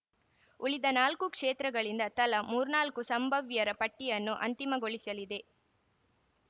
ಉಳಿದ ನಾಲ್ಕು ಕ್ಷೇತ್ರಗಳಿಂದ ತಲಾ ಮೂರ್ನಾಲ್ಕು ಸಂಭವ್ಯರ ಪಟ್ಟಿಯನ್ನು ಅಂತಿಮಗೊಳಿಸಲಿದೆ